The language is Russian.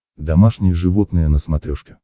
домашние животные на смотрешке